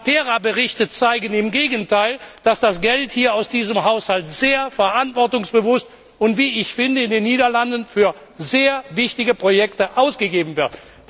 Die Matera Berichte zeigen im Gegenteil, dass das Geld aus diesem Haushalt sehr verantwortungsbewusst und wie ich finde in den Niederlanden für sehr wichtige Projekte ausgegeben wird.